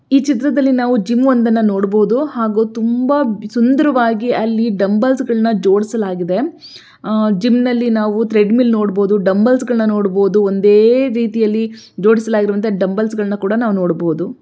ಈ ಚಿತ್ರದಲ್ಲಿ ನಾವು ಜಿಮ್ ಒಂದನ್ನ ನೋಡಬೋದು ಹಾಗು ತುಂಬಾ ಸುಂದರವಾಗಿ ಡಂಬಲ್ಸ್ದಂಗಳನ್ನ ಜೋಡಿಸಲಾಗಿದೆ ಆ-ಜಿಮ್ ನಲ್ಲಿ ನಾವು ತ್ರೇಡ್ ವೀಲ್ ನೋಡಬೋದು ಡಂಬಲ್ಸ್ ನೋಡಬೋದು ಒಂದೇ ರೀತಿನಲ್ಲಿ ಜೋಡಿಸಿರುವಂತ ಡಂಬಲ್ಸ್ಗಳನ್ನ ನಾವು ನೋಡಬೋದು.